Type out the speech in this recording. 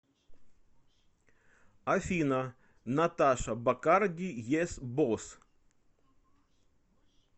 афина наташа бакарди ес босс